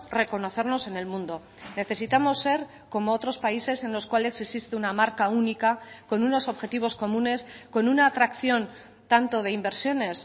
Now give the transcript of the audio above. reconocernos en el mundo necesitamos ser como otros países en los cuales existe una marca única con unos objetivos comunes con una atracción tanto de inversiones